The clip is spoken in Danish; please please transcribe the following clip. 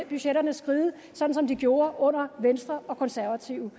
budgetterne skride sådan som de gjorde under venstre og konservative